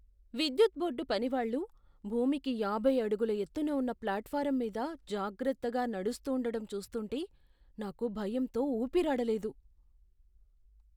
విద్యుత్ బోర్డు పనివాళ్ళు భూమికి యాభై అడుగుల ఎత్తున ఉన్న ప్లాట్ఫారమ్ మీద జాగ్రత్తగా నడుస్తూండటం చూస్తుంటే నాకు భయంతో ఊపిరాడలేదు.